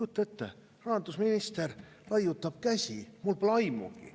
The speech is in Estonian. Kujutage ette – rahandusminister laiutab käsi: "Mul pole aimugi".